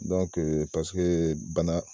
Dɔnke paseke bana